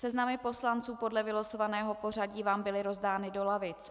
Seznamy poslanců podle vylosovaného pořadí vám byly rozdány do lavic.